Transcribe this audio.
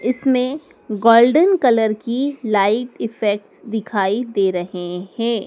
इसमें golden colour की light effects दिखाई दे रहे हैं।